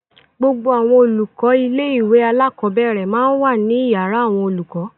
Gbogbo àwọn olùkọ́ ilé-ìwé alákọ̀ọ́bẹ̀rẹ̀ máa ń wà ní ìyàrá àwọn olùkọ́.